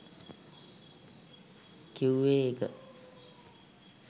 කිව්වේ ඒක